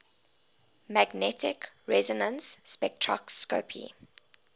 magnetic resonance spectroscopy